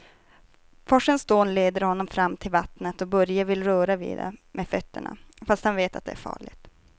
Forsens dån leder honom fram till vattnet och Börje vill röra vid det med fötterna, fast han vet att det är farligt.